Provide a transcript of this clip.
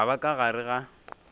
ka ba ka gare ga